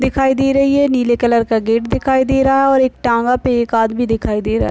दिखाई दे रही है नीले कलर का गेट दिखाई दे रहा है और एक टांगा पे एक आदमी दिखाई दे रा --